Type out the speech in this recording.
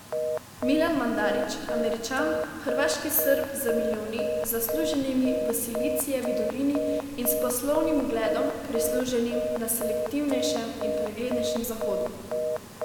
Milan Mandarić, Američan, hrvaški Srb z milijoni, zasluženimi v Silicijevi dolini, in s poslovnim ugledom, prisluženim na selektivnejšem in preglednejšem Zahodu.